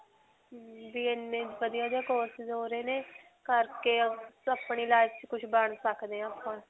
ਵੀ ਇੰਨੇ ਵਧੀਆ ਜਿਹੇ courses ਹੋ ਰਹੇ ਨੇ. ਕਰਕੇ ਅਪਣੀ life 'ਚ ਕੁਝ ਬਣ ਸਕਦੇ ਹਾਂ ਆਪਾਂ,